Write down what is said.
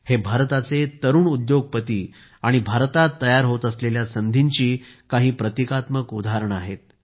हे भारताचे तरुण उद्योगपती आणि भारतात तयार होत असलेल्या संधींची काही प्रतीकात्मक उदाहरणे आहेत